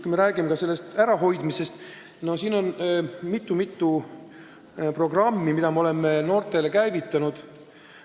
Kui me räägime narkotarvitamise ärahoidmisest noorte seas, siis on mitu programmi, mille me oleme noorte jaoks käivitanud.